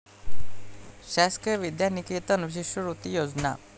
शासकीय विद्यानिकेतन शिष्यवृत्ती योजना